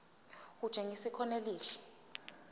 kutshengisa ikhono elihle